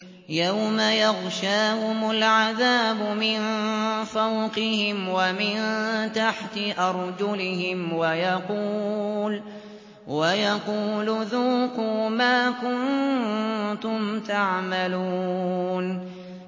يَوْمَ يَغْشَاهُمُ الْعَذَابُ مِن فَوْقِهِمْ وَمِن تَحْتِ أَرْجُلِهِمْ وَيَقُولُ ذُوقُوا مَا كُنتُمْ تَعْمَلُونَ